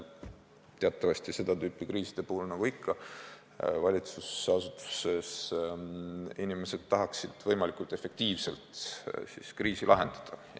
Teatavasti tahaksid seda tüüpi kriiside puhul valitsusasutuste inimesed olukorda võimalikult efektiivselt lahendada.